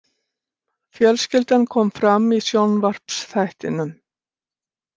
Fjölskyldan kom fram í sjónvarpsþættinum